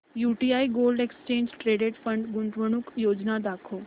UTI gold exchange traded fund गुंतवणूक योजना दाखव